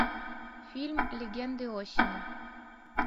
фильм легенды осени